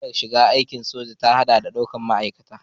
Hanyar shiga aikin soja ta haɗa da daukar ma'aikata.